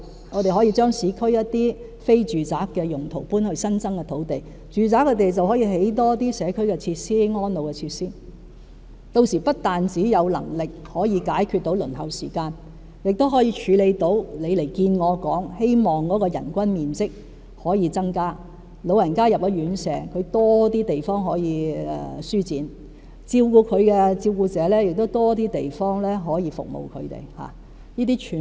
我們可以將市區一些非住宅用途項目遷往新增土地，住宅土地便可興建更多社區和安老設施，屆時不但有能力解決輪候時間問題，亦可處理張議員早前與我見面時所提出的問題，希望增加院舍人均面積，讓老人家進了院舍後有更多地方舒展，照顧者亦有更多地方提供服務。